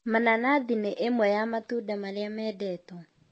Mananathi nĩ ĩmwe ya matunda marĩa mendetwo